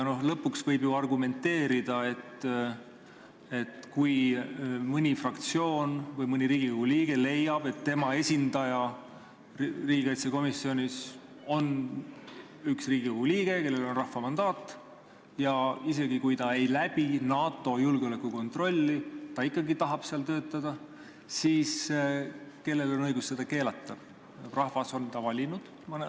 No lõpuks võib ju argumenteerida, et kui mõni fraktsioon või mõni Riigikogu liige leiab, et tema esindaja riigikaitsekomisjonis on üks Riigikogu liige, kellel on rahva mandaat, ja isegi, kui ta ei läbi NATO julgeolekukontrolli, ta ikkagi tahab seal töötada, siis kellel on õigus seda keelata, rahvas on ta valinud.